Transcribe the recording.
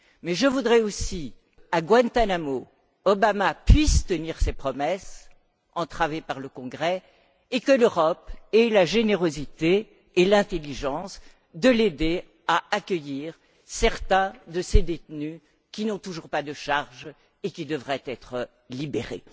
Mais je voudrais aussi qu'à Guantánamo, Obama puisse tenir ses promesses entravées par le Congrès et que l'Europe ait la générosité et l'intelligence de l'aider à accueillir certains de ces détenus qui n'ont toujours pas été inculpés et qui devraient être libérés.